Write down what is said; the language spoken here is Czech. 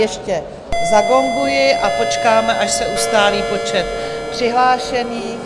Ještě zagonguji a počkám, až se ustálí počet přihlášených.